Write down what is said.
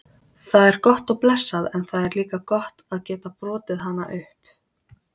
Það er gott og blessað en það er líka gott að geta brotið hana upp.